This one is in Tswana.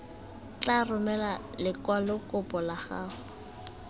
tla romela lekwalokopo la gago